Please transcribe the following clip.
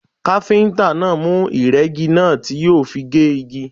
Káfíntà náà mú ìrẹ́gi náà tí yóò fi gé igi.